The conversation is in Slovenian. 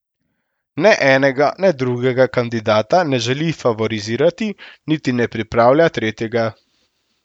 Ne enega ne drugega kandidata ne želi favorizirati, niti ne pripravlja tretjega.